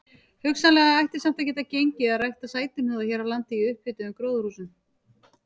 Hugsanlega ætti samt að geta gengið að rækta sætuhnúða hér á landi í upphituðum gróðurhúsum.